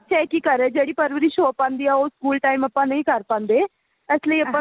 ਅੱਛਾ ਇਹ ਕੀ ਕਰ ਰਿਹਾ ਜਿਹੜੀ ਪਰਵਰਿਸ਼ ਹੋ ਪਾਂਦੀ ਹੈ ਉਹ ਸਕੂਲ time ਆਪਾਂ ਨਹੀਂ ਕਰ ਪਾਂਦੇ ਇਸ ਲਈ ਆਪਾਂ